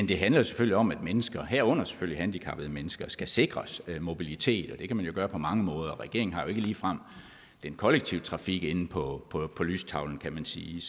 det handler selvfølgelig om at mennesker herunder selvfølgelig handicappede mennesker skal sikres mobilitet og det kan man jo gøre på mange måder regeringen har ikke ligefrem den kollektive trafik inde på lystavlen kan man sige